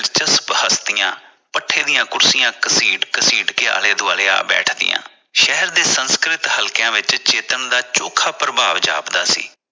ਦਿਲਚਸਪ ਹਸਤੀਆਂ ਪੱਠੇ ਦੀਆਂ ਕੁਰਸੀਆਂ ਘਸੀਟ ਘਸੀਟ ਕੇ ਆਲੇ ਦੁਆਲੇ ਆ ਬੈਠਦੀਆਂ ਸ਼ਹਿਰ ਦੇ ਸੰਸਕ੍ਰਿਤ ਹਲਕਿਆਂ ਵਿਚ ਚੇਤਨ ਦਾ ਅਨੋਖਾ ਪ੍ਰਭਾਵ ਜਾਪਦਾ ਸੀ।